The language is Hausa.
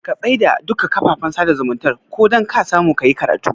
Ka tsai da duka kafafen sada zumuntar ka dan kasamu kayi karatu